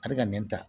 A bɛ ka nɛn ta